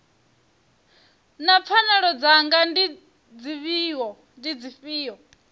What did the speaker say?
naa pfanelo dzanga ndi dzifhio